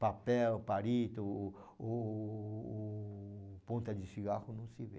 Papel, palito, o o ponta de cigarro não se vê.